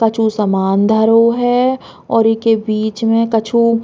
कछु समान धरो है और इके बीच मे कछु --